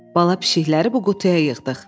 Bala pişiklər bu qutuya yığdıq.